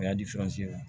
O y'a di